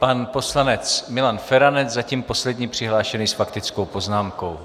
Pan poslanec Milan Feranec, zatím poslední přihlášený s faktickou poznámkou.